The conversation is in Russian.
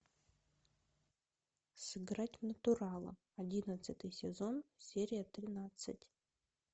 сыграть в натурала одиннадцатый сезон серия тринадцать